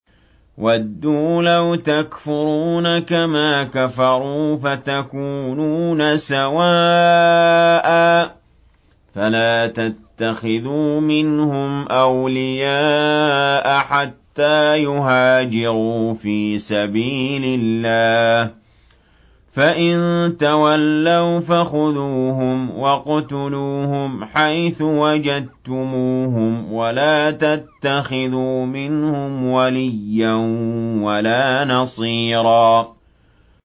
وَدُّوا لَوْ تَكْفُرُونَ كَمَا كَفَرُوا فَتَكُونُونَ سَوَاءً ۖ فَلَا تَتَّخِذُوا مِنْهُمْ أَوْلِيَاءَ حَتَّىٰ يُهَاجِرُوا فِي سَبِيلِ اللَّهِ ۚ فَإِن تَوَلَّوْا فَخُذُوهُمْ وَاقْتُلُوهُمْ حَيْثُ وَجَدتُّمُوهُمْ ۖ وَلَا تَتَّخِذُوا مِنْهُمْ وَلِيًّا وَلَا نَصِيرًا